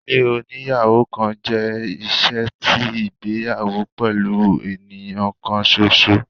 Ilé oníyàwò kan jẹ iṣe ti igbeyawo pẹlu eniyan kan ṣoṣo